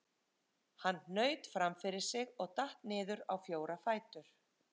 Hann hnaut fram fyrir sig og datt niður á fjóra fætur.